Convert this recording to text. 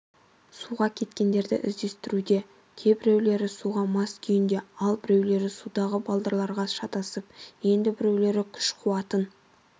суға кеткендерді іздестіруде кейбіреулері суға мас куйінде ал біреулер судағы балдырларға шатасып енді біреулері күш-қуатын